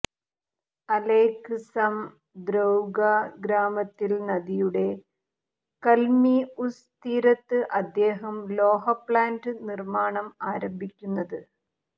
അലെക്സംദ്രൊവ്ക ഗ്രാമത്തിൽ നദിയുടെ കല്മിഉസ് തീരത്ത് അദ്ദേഹം ലോഹ പ്ലാന്റ് നിർമ്മാണം ആരംഭിക്കുന്നത്